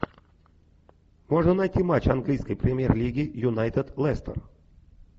можно найти матч английской премьер лиги юнайтед лестер